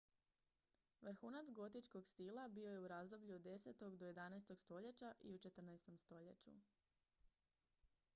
vrhunac gotičkog stila bio je u razdoblju od 10. do 11. stoljeća i u 14. stoljeću